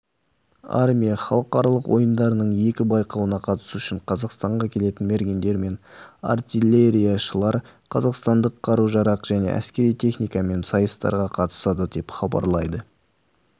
армия халықаралық ойындарының екі байқауына қатысу үшін қазақстанға келетін мергендер мен артиллерияшылар қазақстандық қару-жарақ және әскери техникамен сайыстарға қатысады деп хабарлайды